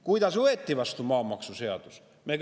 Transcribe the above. Kuidas võeti vastu maamaksuseaduse?